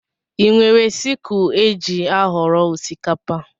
Ị nwere sikul éjị aghọrọ osikapa?